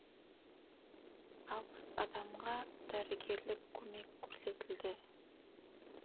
алпыс адамға дәрігерлік көмек көрсетілді